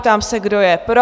Ptám se, kdo je pro?